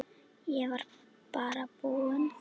Ég var bara búinn.